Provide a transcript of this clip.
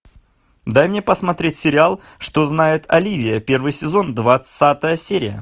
дай мне посмотреть сериал что знает оливия первый сезон двадцатая серия